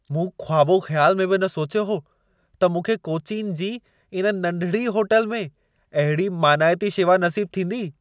मूं ख़्वाबो ख़्याल में बि न सोचियो हो, त मूंखे कोचीन जी इन नंढिड़ी होटल में अहिड़ी मानाइती शेवा नसीबु थींदी।